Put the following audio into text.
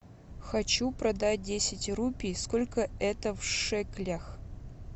хочу продать десять рупий сколько это в шекелях